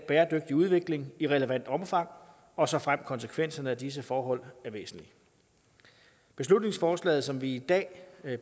bæredygtig udvikling i relevant omfang og såfremt konsekvenserne af disse forhold er væsentlige beslutningsforslaget som vi i dag